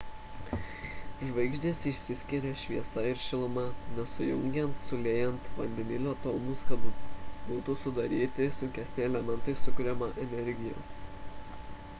žvaigždės išskiria šviesą ir šilumą nes sujungiant suliejant vandenilio atomus kad būtų sudaryti sunkesni elementai sukuriama energija